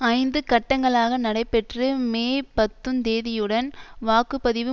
ஐந்து கட்டங்களாக நடைபெற்று மே பத்துந் தேதியுடன் வாக்கு பதிவு